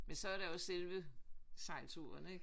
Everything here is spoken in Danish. Men så er der jo selve sejlturen ikke